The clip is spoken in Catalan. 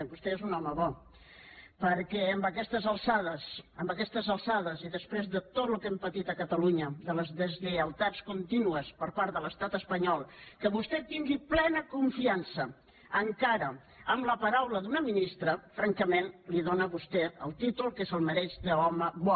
vostè és un home bo perquè a aquestes alçades a aquestes alçades i després de tot el que hem patit a catalunya de les deslleialtats contínues per part de l’estat espanyol que vostè tingui plena confiança encara en la paraula d’una ministra francament li dóna a vostè el títol que se’l mereix d’home bo